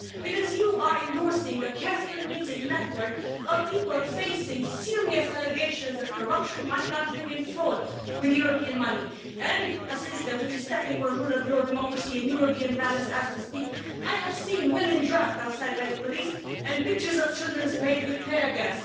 Because you are endorsing a carefully knitted network of people facing serious allegations of corruption, money laundering and fraud with European money and a system which is stepping on the rule of law, democracy and European values as we speak. I have seen women dragged outside by the police and pictures of children sprayed with teargas.